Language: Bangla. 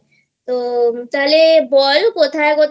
তো তাহলে বল কোথায় কোথায়